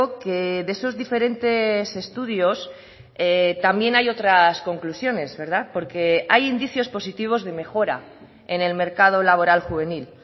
que de esos diferentes estudios también hay otras conclusiones porque hay indicios positivos de mejora en el mercado laboral juvenil